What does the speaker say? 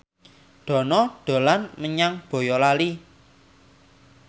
Dono dolan menyang Boyolali